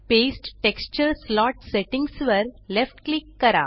paste texture slot settings वर left click करा